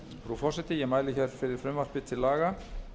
virðulegi forseti ég mæli hér fyrir frumvarpi til laga